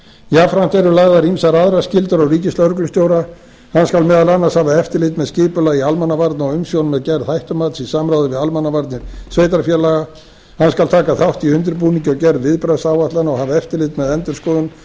jafnframt eru lagðar ýmsar aðrar skyldur á ríkislögreglustjóra hann skal meðal annars hafa eftirlit með skipulagi almannavarna og umsjón með gerð hættumats í samræmi við almannavarnir sveitarfélaga hann skal taka þátt í undirbúningi og gerð viðbragðsáætlana og hafa eftirlit með endurskoðun þeirra